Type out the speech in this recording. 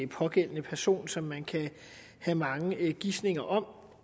pågældende person som man kan have mange gisninger om